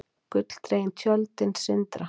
Gulldregin hjöltin sindra.